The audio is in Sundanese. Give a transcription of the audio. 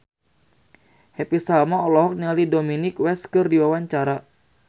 Happy Salma olohok ningali Dominic West keur diwawancara